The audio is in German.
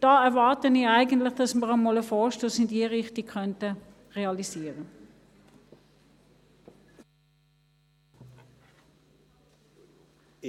Da erwarte ich eigentlich, dass wir einmal einen Vorstoss in diese Richtung realisieren könnten.